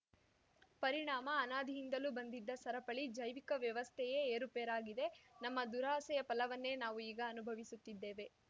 ಪರಿಣಾಮ ಅನಾದಿಯಿಂದಲೂ ಬಂದಿದ್ದ ಸರಪಳಿ ಜೈವಿಕ ವ್ಯವಸ್ಥೆಯೇ ಏರುಪೇರಾಗಿದೆ ನಮ್ಮ ದುರಾಸೆಯ ಫಲವನ್ನೇ ನಾವು ಈಗ ಅನುಭವಿಸುತ್ತಿದ್ದೇವೆ